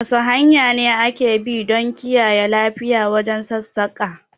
Wasu hanya ne ake bi don kiyaye lafiya wajen sassaƙa?